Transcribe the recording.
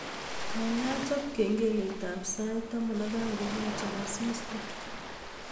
Gaigai chop kengeletab saitin taman ak aeng kogachor asista